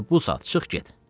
Elə bu saat çıx get!"